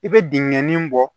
I bɛ dingɛ nin bɔ